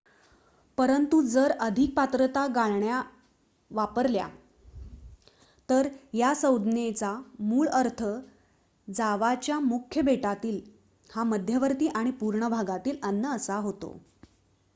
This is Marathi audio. परंतु जर अधिक पात्रता गाळण्या वापरल्या तर या संज्ञेचा मूळ अर्थ जावाच्या मुख्य बेटातील हा मध्यवर्ती आणि पूर्व भागातील अन्न असा होतो